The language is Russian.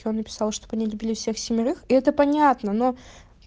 чё он написал чтобы они любили всех семерых и это понятно но